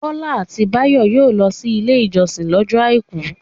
Bọ́lá àti Báyọ̀ yóò lọ sí Ilé-ìjọsìn lọ́jọ́ àìkú.